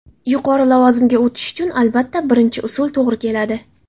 Yuqori lavozimga o‘tish uchun albatta birinchi usul to‘g‘ri keladi.